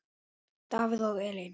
Davíð og Elín.